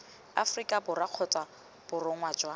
aforika borwa kgotsa borongwa jwa